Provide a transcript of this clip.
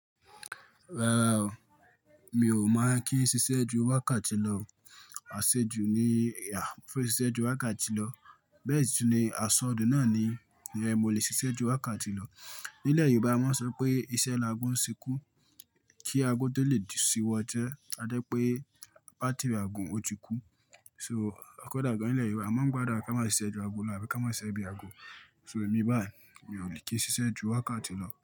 Rárá o, mi ò ma kí n ṣiṣẹ́ ju wákàtí lọ, àṣejù ni, fún iṣẹ́ ju wákàtí lọ. Bẹ́ẹ̀ sì ni, àsọ̀dùn náà ni ìyẹn mo lè ṣiṣẹ́ ju wákàtí lọ. Ní ilẹ̀ Yorùbá a mo n sọ wipé iṣẹ́ laago ń ṣekú kí aago tó lè ṣíwọ́ isẹ́. Adé pé bátírì ago òun ó ti kú. So, kọ́dà gan-an ilẹ̀ Yorùbá a máa ń gbàdúrà kí a máa ṣiṣẹ́ ju ago lọ àbí ká máa ṣiṣẹ́ bí ago. So, èmi báyìí mi ò dẹ̀ kí n ṣiṣẹ́ ju wákàtí lọ.